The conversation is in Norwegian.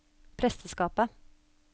presteskapet